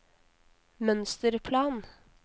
mønsterplan